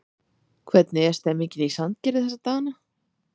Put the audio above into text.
Hvernig er stemmningin í Sandgerði þessa dagana?